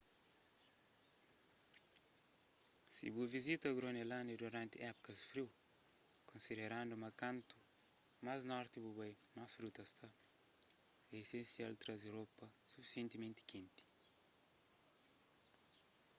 si bu vizita gronelândia duranti épukas friu konsiderandu ma kuantu más a norti bu bai más friu ta sta é esensial traze ropa sufisientimenti kenti